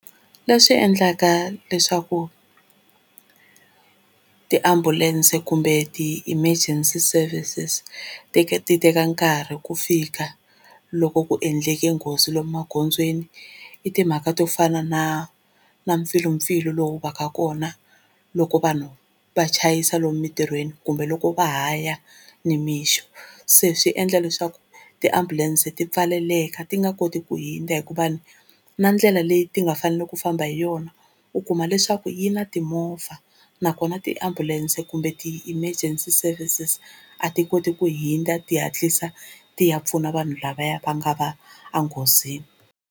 Leswi endlaka leswaku tiambulense kumbe ti-emergency services ti ti teka nkarhi ku fika loko ku endleke nghozi lomu magondzweni, i timhaka to fana na na mpfilumpfilu lowu va ka kona loko vanhu va chayisa lomu mitirhweni kumbe loko va ha ya nimixo, se swi endla leswaku tiambulense ti pfaleleka ti nga koti ku hundza hikuva na ndlela leyi ti nga faneleki ku famba hi yona u kuma leswaku yi na timovha, nakona tiambulense kumbe ti-emergency services a ti koti ku hundza ti hatlisa ti ya pfuna vanhu lavaya va nga va enghozini.